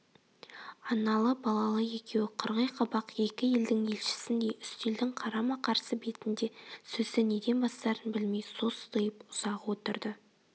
аналы-балалы екеуі қырғи қабақ екі елдің елшісіндей үстелдің қарама-қарсы бетінде сөзді неден бастарын білмей состиып ұзақ отырды